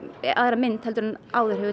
aðra mynd heldur en áður hefur